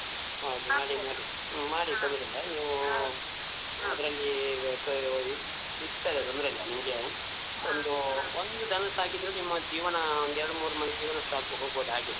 ಹ ಮಾಡಿ ಮಾಡಿ ಹ್ಮ ಮಾಡಿ ತೊಂದ್ರಿಲ್ಲಾ ನೀವೂ ಅದ್ರಲ್ಲೀ ಈಗ ಧೈರ್ಯವಾಗಿ ಸಿಗ್ತದೆ ತೊಂದ್ರೆ ಇಲ್ಲ ನಿಮ್ಗೇ ಒಂದೂ ಒಂದು ದನ ಸಾಕಿದ್ರೂ ನಿಮ್ಮ ಜೀವನಾ ಒಂದ್ ಎರ್ಡ್ ಮೂರ್ ಮಂದಿದು ಜೀವನ ಸಾಕ್ಬೋದ್ ಹೋಗ್ಬೋದ್ ಹಾಗೆ.